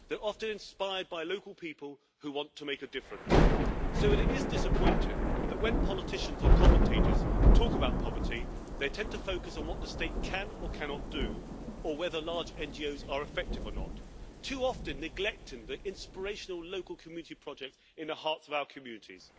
They are often inspired by local people who want to make a difference, so it is disappointing that when politicians or commentators talk about poverty, they tend to focus on what the state can or cannot do, or whether large NGOs are effective or not, too often neglecting the inspirational local community projects in the hearts of our communities.